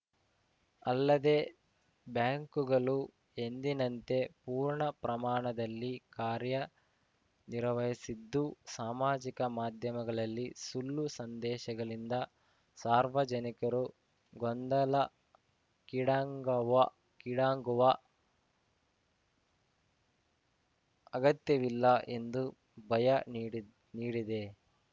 ಅಲ್ಲದೆ ಬ್ಯಾಂಕುಗಳು ಎಂದಿನಂತೆ ಪೂರ್ಣ ಪ್ರಮಾಣದಲ್ಲಿ ಕಾರ್ಯ ನಿರ್ವಹಿಸಿದ್ದು ಸಾಮಾಜಿಕ ಮಾಧ್ಯಮಗಳಲ್ಲಿ ಸುಳ್ಳು ಸಂದೇಶಗಳಿಂದ ಸಾರ್ವಜನಿಕರು ಗೊಂದಲಕ್ಕೀಡಾಂಗವ ಗೊಂದಲಕ್ಕೀಡಾಂಗುವ ಅಗತ್ಯವಿಲ್ಲ ಎಂದು ಭಯ ನೀಡ್ ನೀಡಿದೆ